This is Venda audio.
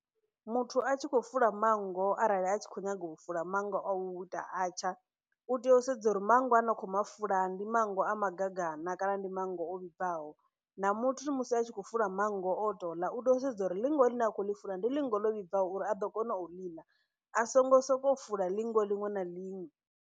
Muthu a tshi khou fula manngo arali a tshi kho nyaga u fula manngo a u ita atsha u tea u sedza uri manngo a ne a khou mafula ndi manngo a magagana kana ndi manngo o vhibvaho na muthu musi a tshi khou fula manngo a o to ḽa u sedza uri ḽinfo ḽine akho ḽi fula ndi ḽinngo ḽo vhibvaho uri a ḓo kona u ḽa a songo soko fula ḽinngo ḽiṅwe na ḽiṅwe